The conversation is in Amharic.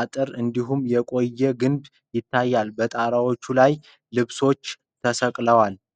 አጥር እንዲሁም የቆየ ግንብ ይታያል። በጣራዎቹ ላይ ልብሶች ተሰቅለዋል።